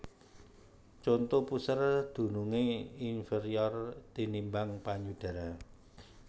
Conto Puser dunungé inferior tinimbang payudara